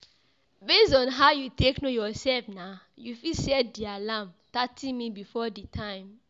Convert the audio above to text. Based on how you take know yourself now you fit set di alarm thirty minutes before di time